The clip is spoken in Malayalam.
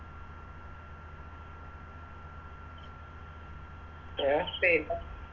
അഹ്